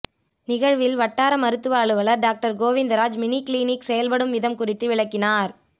நிகழ்வில் வட்டார மருத்துவ அலுவலர் டாக்டர் கோவிந்தராஜ் மினிகிளினிக் செயல்படும் விதம் குறித்து விளக்கினார்